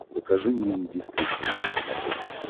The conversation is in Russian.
покажи мне индийское кино на смотрешке